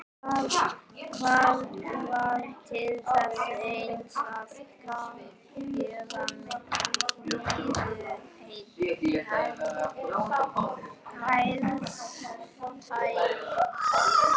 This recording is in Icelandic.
Það varð til þess eins að gera Maríu enn æstari.